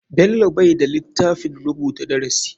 Bello bai da litafin rubuta darasi.